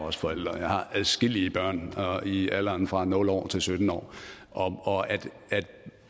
også forælder og jeg har adskillige børn i alderen fra nul år til sytten år og det